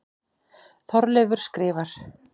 Þorleifur skrifar: